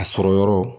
A sɔrɔ yɔrɔ